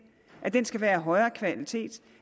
at den skal være af højere kvalitet